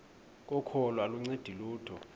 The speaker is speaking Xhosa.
kokholo aluncedi lutho